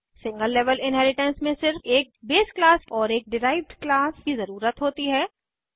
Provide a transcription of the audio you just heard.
single level inheritance में सिर्फ एक बेस क्लास और एक डिराइव्ड क्लास की ज़रुरत होती है